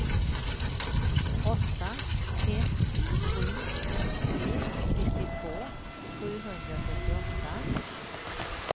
åtta ett sju tre nittiotvå sjuhundrafyrtioåtta